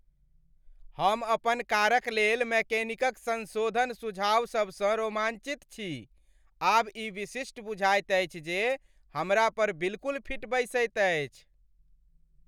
हम अपन कारक लेल मैकेनिकक संशोधन सुझावसभसँ रोमाञ्चित छी। आब ई विशिष्ट बुझाएत अछि जे हमरा पर बिल्कुल फिट बैसैत अछि।